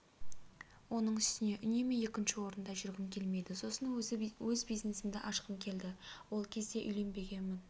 оның үстіне үнемі екінші орында жүргім келмеді сосын өзі бизнесімді ашқым келді ол кезде үйленбегенмін